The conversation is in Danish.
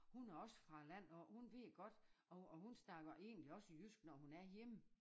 Hun er også fra æ land af hun ved godt og og hun snakker egentlig også jysk når hun er hjemme